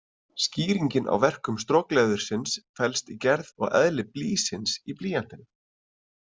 Skýringin á verkun strokleðursins felst í gerð og eðli „blýsins“ í blýantinum.